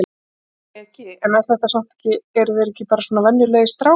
Breki: En er þetta samt ekki eru þeir ekki bara svona venjulegir strákar?